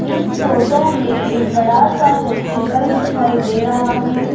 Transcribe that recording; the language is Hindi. इस फोटो में एक बड़ा सा हॉस्पिटल दिखाई दे रहा है।